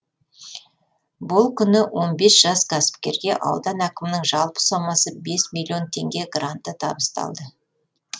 бұл күні он бес жас кәсіпкерге аудан әкімінің жалпы соммасы бес миллион теңге гранты табысталды